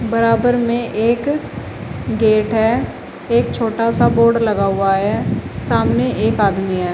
बराबर में एक गेट है एक छोटा सा बोर्ड लगा हुआ है सामने एक आदमी है।